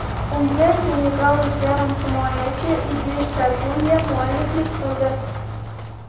Unga senegallik yarim himoyachi Idrissa Guyye mualliflik qildi.